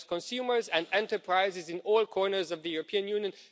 it helps consumers and enterprises in all corners of the European Union.